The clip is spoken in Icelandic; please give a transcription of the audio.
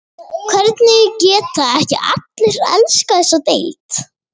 Hvernig geta ekki allir elskað þessa deild?